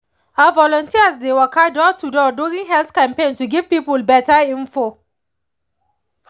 ah volunteers dey waka door to door during health campaign to give people better info